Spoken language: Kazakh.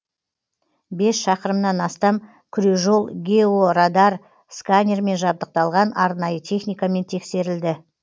бес шақырымнан астам күрежол георадар сканермен жабдықталған арнайы техникамен тексерілді